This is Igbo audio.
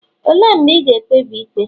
olee mgbe ị ga-ekpebi ikpe?